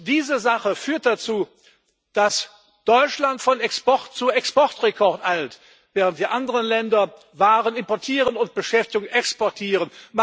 Diese Sache führt dazu, dass Deutschland von Export zu Exportrekord eilt, während die anderen Länder Waren importieren und Beschäftigung exportieren.